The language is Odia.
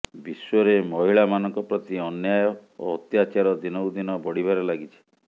ବିଶ୍ବରେ ମହିଳା ମାନଙ୍କ ପ୍ରତି ଅନ୍ୟାୟ ଓ ଅତ୍ୟାଚାର ଦିନକୁ ଦିନ ବଢ଼ିବାରେ ଲାଗିଛି